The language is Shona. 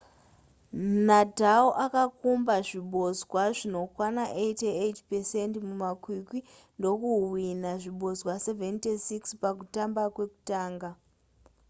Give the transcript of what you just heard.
nadal akakumba zvibodzwa zvinokwana 88% mumakwikwi ndokuhwinha zvibodzwa 76 pakutamba kwekutanga